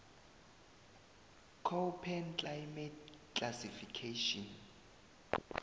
koppen climate classification